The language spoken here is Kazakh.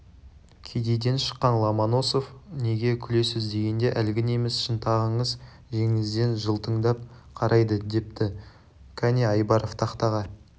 кедейден шыққан ломоносов неге күлесіз дегенде әлгі неміс шынтағыңыз жеңіңізден жылтыңдап қарайды депті кәне айбаров тақтаға